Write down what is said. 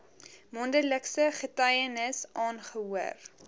mondelingse getuienis aangehoor